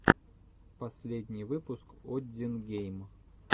последний выпуск оддин гейм